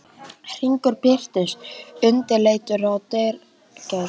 Hringur birtist undirleitur í dyragættinni.